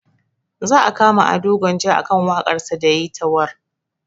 Za a kama ado gwanja akan waƙar sa da yayi ta warr